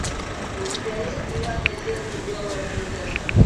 у тебя есть девятая серия белая принцесса